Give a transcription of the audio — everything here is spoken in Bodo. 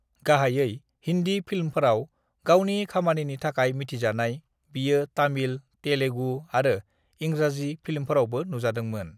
"गाहायै हिन्दी फिल्मफोराव गावनि खामानिनि थाखाय मिथिजानाय, बियो तामिल, तेलुगु आरो इंराजि फिल्मफोरावबो नुजादोंमोन।"